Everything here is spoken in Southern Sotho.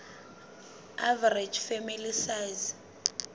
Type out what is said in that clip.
average family size